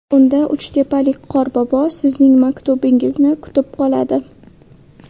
Unda uchtepalik qorbobo sizning maktubingizni kutib qoladi.